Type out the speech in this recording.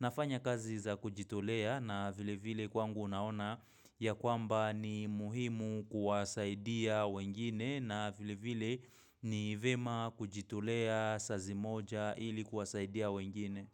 nafanya kazi za kujitolea na vile vile kwangu unaona ya kwamba ni muhimu kuwasaidia wengine na vile vile ni vyema kujitolea sazi moja ilikuwasaidia wengine.